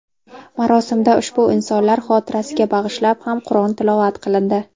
Marosimda ushbu insonlar xotirasiga bag‘ishlab ham Qur’on tilovat qilindi.